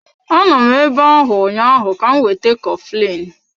Anọ m ebe ahụ ụnyaahụ ka m weta coflin.